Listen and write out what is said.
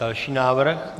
Další návrh.